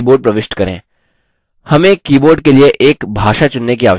हमें keyboard के लिए एक भाषा चुनने की आवश्यकता है